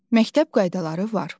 Məktəb qaydaları var.